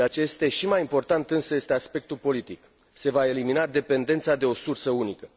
Ceea ce este și mai important, însă, este aspectul politic se va elimina dependența de o sursă unică.